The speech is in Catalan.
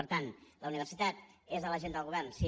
per tant la universitat és a l’agenda del govern sí